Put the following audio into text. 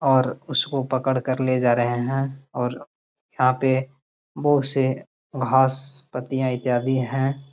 और उसको पकड़ कर ले जा रहे हैं और यहाँ पे बोहत से घास पत्तियां इत्यादि हैं।